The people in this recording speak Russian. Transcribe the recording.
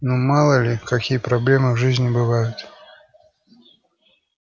ну мало ли какие проблемы в жизни бывают